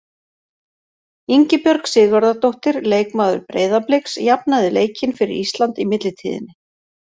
Ingibjörg Sigurðardóttir, leikmaður Breiðabliks, jafnaði leikinn fyrir Ísland í millitíðinni.